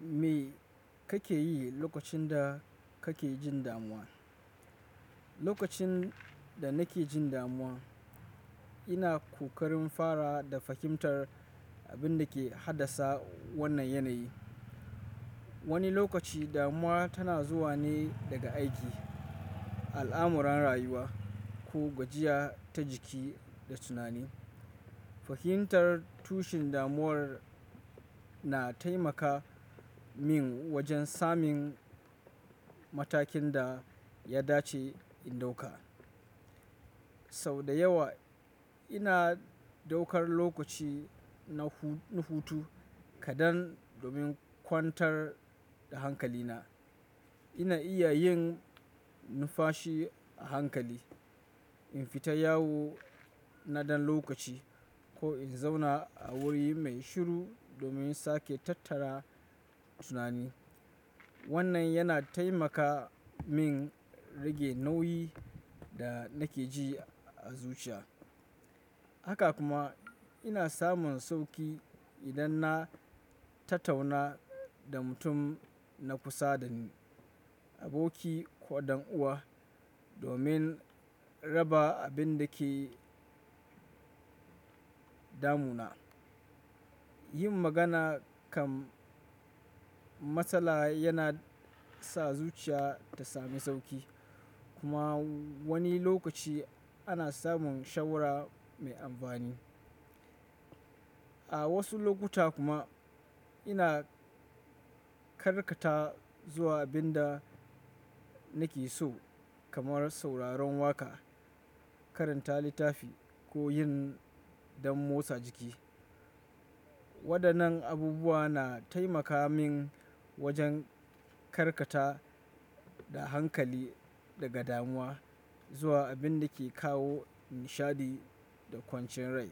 Me kake yi lokacin da kake jin damuwa? Lokacin da nake jin damuwa, ina kokarin fara da fahimtar abin da ke haddasa wannan yanayi. Wani lokaci damuwa tana zuwa ne daga aiki, al'amuran rayuwa, ko gwajiya ta jiki da tunani. Fahimtar tushen damuwar na taimaka min wajen samun matakin da ya dace in ɗauka. Sau da yawa ina ɗaukar lokaci na hutu kadan domin kwantar da hankalina. Ina iya yin nufashi a hankali, in fita yawo na ɗan lokaci ko in zauna a wuri mai shiru domin sake tattara tunani. Wannan yana taimaka min rage nauyin da nake ji a zuciya. Haka kuma ina samun sauƙi idan na tattauna da mutum na kusa dani, aboki ko ɗan uwa domin raba abin da ke damuna. Yin magana kan matsala yana sa zuciya ta sami sauƙi kuma wani lokaci ana samun shawara mai amfani. A wasu lokuta kuma ina karkata zuwa abin da nake so kamar sauraron waƙa, karanta littafi ko yin dan motsa jiki. Waɗannan abubuwa na taimaka min wajen karkata da hankali daga damuwa zuwa abin da ke kawo nishaɗi da kwanciyar rai.